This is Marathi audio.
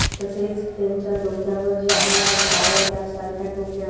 तसेच त्यांच्या डोक्यावर जे आहे त्या शावर कॅप सारख्या टोप्या--